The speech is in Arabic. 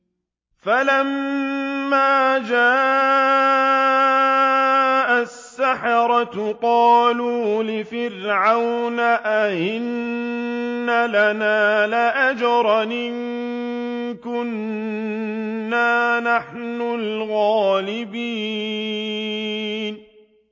فَلَمَّا جَاءَ السَّحَرَةُ قَالُوا لِفِرْعَوْنَ أَئِنَّ لَنَا لَأَجْرًا إِن كُنَّا نَحْنُ الْغَالِبِينَ